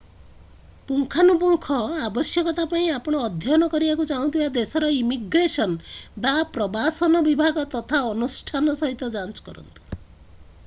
ପୁଙ୍ଖାନୁପୁଙ୍ଖ ଆବଶ୍ୟକତା ପାଇଁ ଆପଣ ଅଧ୍ୟୟନ କରିବାକୁ ଚାହୁଁଥିବା ଦେଶର ଇମିଗ୍ରେସନ୍ ବା ପ୍ରବାସନ ବିଭାଗ ତଥା ଅନୁଷ୍ଠାନ ସହିତ ଯାଞ୍ଚ କରନ୍ତୁ